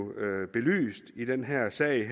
belyst i den her sag